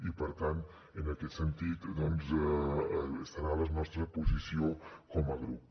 i per tant en aquest sentit doncs serà la nostra posició com a grup